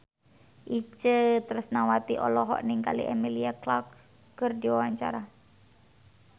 Itje Tresnawati olohok ningali Emilia Clarke keur diwawancara